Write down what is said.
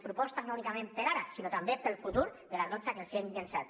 propostes no únicament per a ara sinó també per al futur de les dotze que els hem llançat